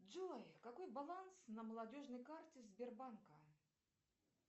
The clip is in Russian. джой какой баланс на молодежной карте сбербанка